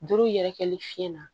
Duuru yɛrɛkɛli fiɲɛ na